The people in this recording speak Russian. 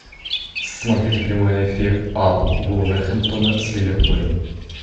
смотреть прямой эфир апл вулверхэмптона с ливерпулем